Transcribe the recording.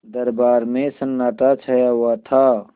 दरबार में सन्नाटा छाया हुआ था